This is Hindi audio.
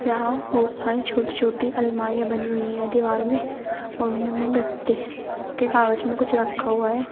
यहां बहुत सारी छोटी छोटी अलमारियां बनी हुई हैं दीवार में और इनमें गत्ते स् के कागज में कुछ रखा हुआ है।